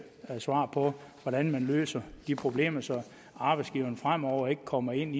svar på hvordan man løser de problemer så arbejdsgiveren fremover ikke kommer i den